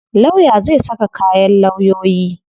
Lawya zai saka kayan lawyoyi.